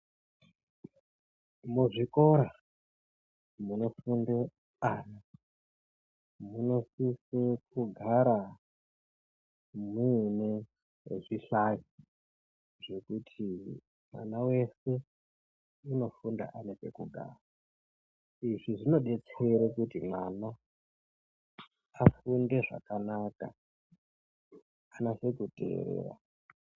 Muzvikora munofunde ana munosise kugara muine zvihlayo zvekuti mwana wese munofunde ane pekugara. Izvi zvinodetsera kuti mwana afunde zvakanaka, anase kuteera.